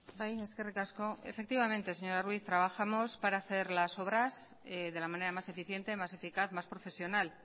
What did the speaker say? bai eskerrik asko efectivamente señora ruiz trabajamos para hacer las obras de la manera mas eficiente más eficaz más profesional